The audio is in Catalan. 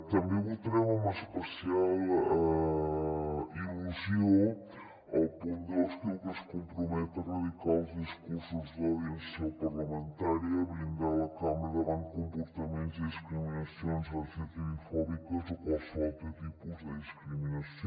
també votarem amb especial il·lusió el punt dos que diu que es compromet a erradicar els discursos d’odi en seu parlamentària i blindar la cambra davant de comportaments i discriminacions lgtbi fòbiques o qualsevol altre tipus de discriminació